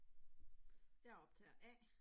Jeg er optager A